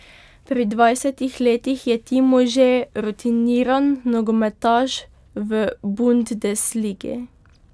Pri dvajsetih letih je Timo že rutiniran nogometaš v bundesligi.